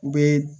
U bɛ